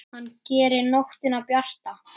Hann gerir nóttina bjarta.